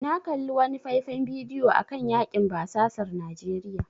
Na kalli wani faifan bidiyo akan yakin basasar Najeriya.